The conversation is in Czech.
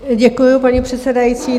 Děkuji, paní předsedající.